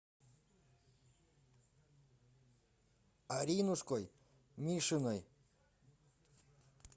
аринушкой мишиной